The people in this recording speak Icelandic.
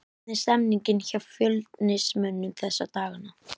Hvernig er stemningin hjá Fjölnismönnum þessa dagana?